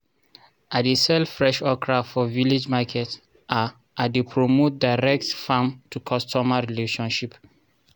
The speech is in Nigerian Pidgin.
i dey sell fresh okra for village market i i dey promote direct farm to customer relationship